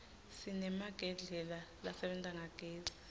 sinemagedlela lasebenta ngagezi